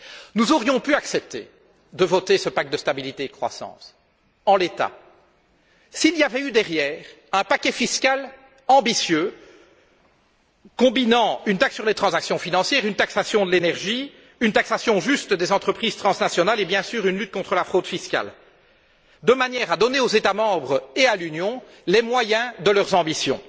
Nous aurions pu accepter de voter ce paquet de stabilité et de croissance, en l'état, s'il s'était accompagné d'un paquet fiscal ambitieux, combinant une taxe sur les transactions financières, une taxation de l'énergie, une taxation juste des entreprises transnationales et, bien sûr, une lutte contre la fraude fiscale, de manière à donner aux États membres et à l'Union les moyens de leurs ambitions.